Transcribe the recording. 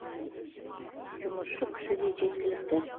жұмысшы күші де жеткілікті